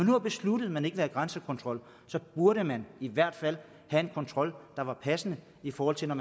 har besluttet at man ikke vil have grænsekontrol burde man i hvert fald have en kontrol der var passende i forhold til at